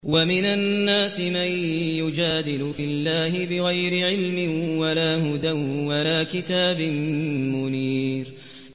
وَمِنَ النَّاسِ مَن يُجَادِلُ فِي اللَّهِ بِغَيْرِ عِلْمٍ وَلَا هُدًى وَلَا كِتَابٍ مُّنِيرٍ